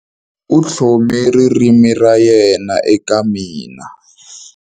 U tlhome ririmi ra yena eka mina.